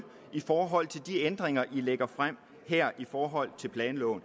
i forhold til de ændringer den lægger frem her i forhold til planloven